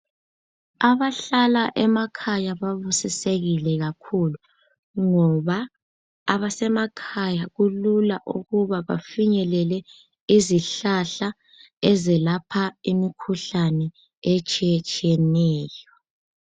Abahlala emakhaya babusisekile kakhulu ngoba abasemakhaya kulula ukuba bafinyelele izihlahla ezelapha imikhuhlane etshiyetshiyeneyp.